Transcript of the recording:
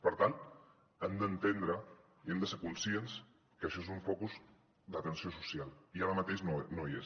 per tant han d’entendre i hem de ser conscients que això és un focus d’atenció social i ara mateix no hi és